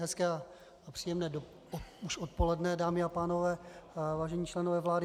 Hezké a příjemné už odpoledne, dámy a pánové, vážení členové vlády.